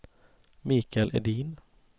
Mikael Edin